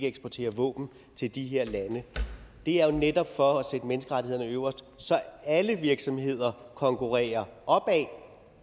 eksportere våben til de her lande det er netop for at sætte menneskerettighederne øverst og så alle virksomheder konkurrerer opad